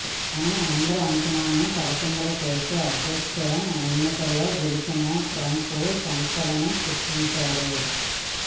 కానీ అందరి అంచనాలను తలకిందులు చేస్తూ అధ్యక్ష ఎన్నికల్లో గెలిచిన ట్రంప్ సంచలనం సృష్టించారు